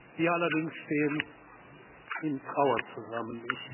Wir allerdings stehen in Trauer zusammen.